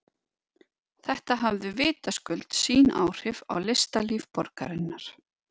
Þetta hafði vitaskuld sín áhrif á listalíf borgarinnar.